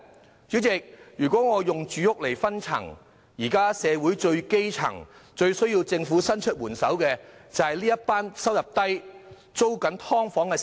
代理主席，如果用住屋來區分，社會最基層、最需要政府伸出援手的人，就是收入低微的"劏房"租戶。